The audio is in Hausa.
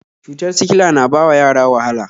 Cutar sikila na bawa yara wahala